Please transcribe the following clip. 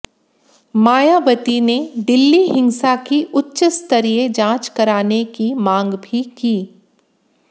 मायावती ने की दिल्ली हिंसा की उच्चस्तरीय जांच कराने की मांग भी की